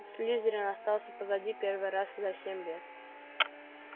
слизерин остался позади первый раз за семь лет